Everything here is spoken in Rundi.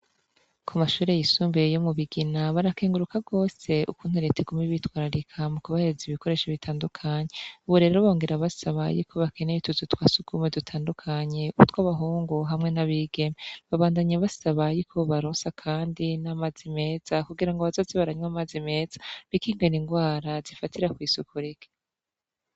Ku mashure yisumbuye yo mu Bigina barakenguruka rwose ukuntu Leta iguma ibitwararika mu kubahereza ibikoresho bitandukanye ubu rero bongera basaba utuzu twa surwumwe dutandukanye, utw'abahungu hamwe n'abigeme. Babandanye basaba yuko bobaronsa kandi n'amazi meza kugirango bazoze baranywa amazi meza bikingire ingwara zifatira kw'isuku rike.